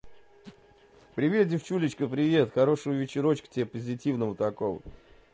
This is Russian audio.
привет девочка привет хорошего вечера тебе позитивного такого